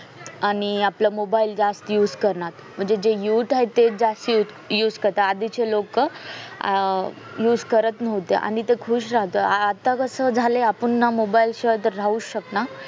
आणि आपलं mobile जास्त use करणार म्हणजे जे mute आहेत तेच जास्त use करतात आधीचे लोक use करत नव्हते आणि तो खुश राहतोय आता कस झालंय आपण ना mobile शिवाय राहुच शकत